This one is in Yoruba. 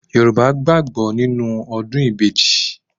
Yorùbá gbàgbó nínú ọdún ìbejì